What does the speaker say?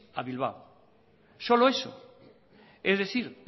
a bilbao solo eso es decir